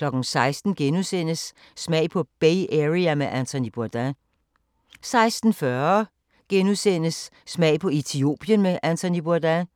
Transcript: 16:00: Smag på Bay Area med Anthony Bourdain * 16:40: Smag på Etiopien med Anthony Bourdain